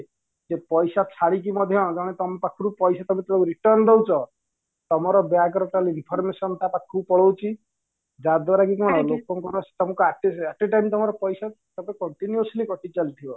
ସେ ପଇସା ଛାଡିକି ମଧ୍ୟ ଜଣେ ତମ ପାଖରୁ ପଇସା ତକ return ଦଉଚ ତମର bank ର information ତା ପାଖକୁ ପଳାଉଚି ଯା ଦ୍ୱାରା କି କଣ at a time ତମର ପଇସା ତକ continuously କଟି ଚାଲିଥିବ